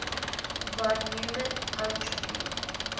von neumann entropy